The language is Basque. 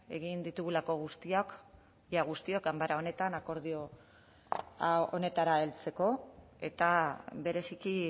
egin ditugulako guztiak ia guztiok ganbara honetan akordio honetara heltzeko eta bereziki